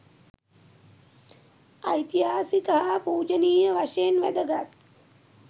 ඓතිහාසික හා පූජනීය වශයෙන් වැදගත්